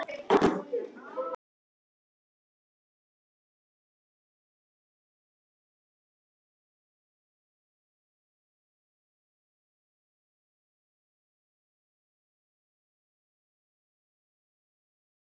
Rautt spjald: Hannes Grimm.